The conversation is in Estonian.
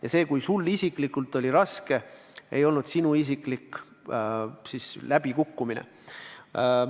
Ja see, kui sul isiklikult oli raske, ei olnud sinu isiklik läbikukkumine.